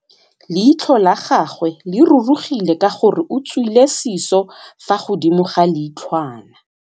Leitlhô la gagwe le rurugile ka gore o tswile sisô fa godimo ga leitlhwana.